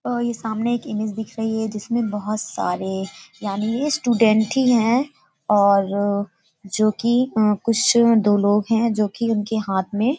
अ सामने ये एक इमेज दिख रही है जिसमें बहोत सारे यानी ये स्टूडेंट ही हैं और जो कि कुछ दो लोग हैं जो कि उनके हाथ में --